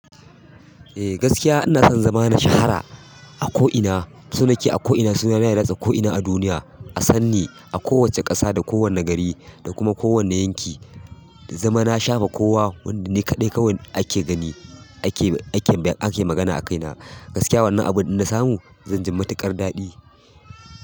Eh gaskiya ina son zama na shahara a ko ina, so nake a ko ina, suna na ya ratse ko ina a duniya. A sanni a kowacce ƙasa da kowane gari da kuma kowane yanki, ya zama na shafa kowa wanda ni kaɗai kawai ake gani ake, ake, ake magana a kai na. Gaskiya abunnan in na samu zanyi matuƙar daɗi.